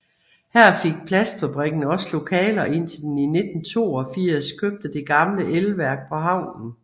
Her fik plastfabrikken også lokaler indtil den i 1982 købte det gamle elværk på havnen